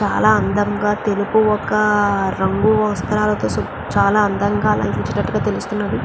చాలా అందంగా తెలుపు ఒక రంగు వస్త్రాలతో సు చాలా అందంగా అలంకరించినట్లు తెలుస్తున్నది.